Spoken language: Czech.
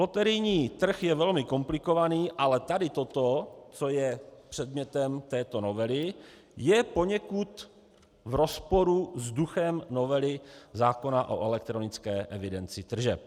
Loterijní trh je velmi komplikovaný, ale tady toto, co je předmětem této novely, je poněkud v rozporu s duchem novely zákona o elektronické evidenci tržeb.